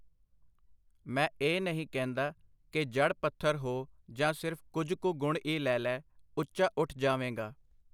ਮੈ ਇਹ ਨਹੀ ਕਹਿੰਦਾ ਕਿ ਜੜ੍ਹ ਪੱਥਰ ਹੋ ਜਾ, ਸਿਰਫ ਕੁਝ ਕੁ ਗੁਣ ਈ ਲੈ ਲੈ, ਉੱਚਾ ਉੱਠ ਜਾਵੇਂਗਾ .